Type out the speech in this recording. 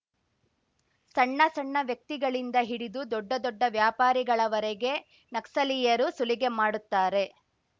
ಸಣ್ಣ ಸಣ್ಣ ವ್ಯಕ್ತಿಗಳಿಂದ ಹಿಡಿದು ದೊಡ್ಡ ದೊಡ್ಡ ವ್ಯಾಪಾರಿಗಳವರೆಗೆ ನಕ್ಸಲೀಯರು ಸುಲಿಗೆ ಮಾಡುತ್ತಾರೆ